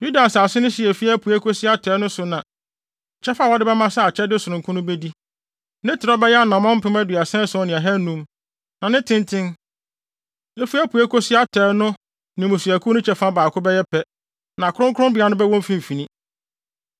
“Yuda nsase no hye a efi apuei kosi atɔe no so na kyɛfa a wode bɛma sɛ akyɛde sononko no bedi. Ne trɛw bɛyɛ anammɔn mpem aduasa ason ne ahannum. Na ne tenten, efi apuei kosi atɔe no ne mmusuakuw no kyɛfa baako bɛyɛ pɛ, na kronkronbea no bɛwɔ mfimfini.